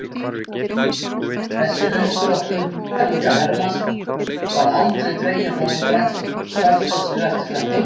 Þessi uppdráttur Helga Hermanns var aldrei dreginn fram í dagsljósið eftir þetta.